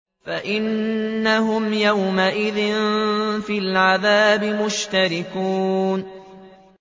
فَإِنَّهُمْ يَوْمَئِذٍ فِي الْعَذَابِ مُشْتَرِكُونَ